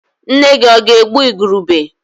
Nna-gi ọ̀ ga-egbu igurube?